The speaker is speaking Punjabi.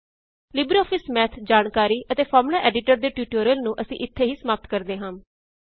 ਲਿਬਰੇਆਫਿਸ ਮੈਥ ਜਾਣਕਾਰੀ ਅਤੇ ਫ਼ਾਰਮੂਲਾ ਐਡੀਟਰ ਦੇ ਟਿਊਟੋਰੀਅਲ ਨੂੰ ਅਸੀਂ ਇਥੇ ਹੀ ਸਮਾਪਤ ਕਰਦੇ ਹਾਂ